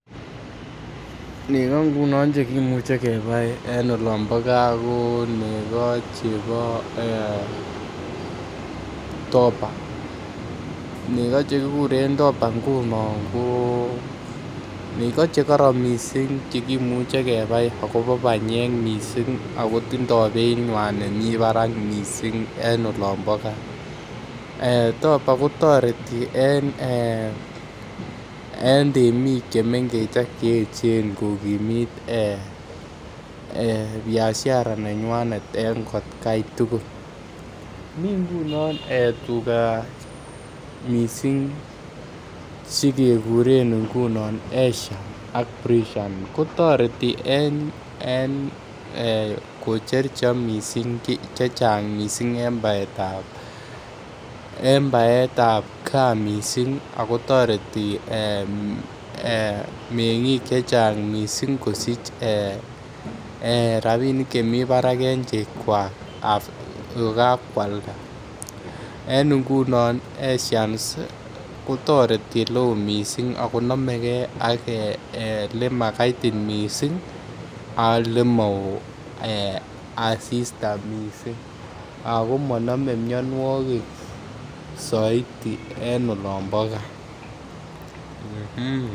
Nego chekiboe en olon bo gaa ko nego chebo dopa nego chekikuren dopa nguno ko nego chekoron kot mising Che imuche kebai akobo banyek mising ako tindo beit nemi barak mising en olon bo gaa dopa kotoreti en temik chemengech ak Che echen ko kokimit Biashara en atgai tugul mi tuga chekekuren frisian ak ashian kotoreti kocher chego chechang mising ak kotoreti en baetab tuga en gaa mising ak kotoreti ak kotoreti mengik kosich rapisiek chemi barak en chegwak kokwalda ashians kotoreti en oleo mising ak konomeke ak olemo kaitit mising ak Ole maoo asista mising ago monome mianwogik soiti en olon bo .